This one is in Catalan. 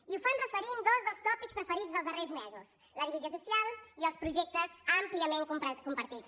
i ho fan referint dos dels tòpics preferits dels darrers mesos la divisió social i els projectes àmpliament compartits